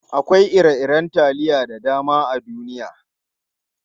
Akwai ire-iren taliya da dama a duniya.